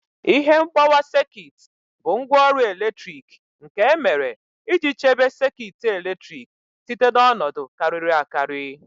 Ihe mgbawa sekit bụ ngwaọrụ eletrik nke e mere iji chebe sekit eletrik site na ọnọdụ kariri akari